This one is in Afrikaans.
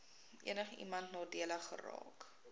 enigiemand nadelig geraak